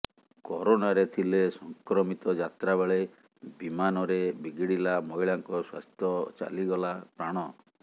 କରୋନାରେ ଥିଲେ ସଂକ୍ରମିତ ଯାତ୍ରା ବେଳେ ବିମାନରେ ବିଗିଡିଲା ମହିଳାଙ୍କ ସ୍ବାସ୍ଥ୍ୟ ଚାଲିଗଲା ପ୍ରାଣ